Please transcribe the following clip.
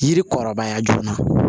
Yiri kɔrɔbaya joona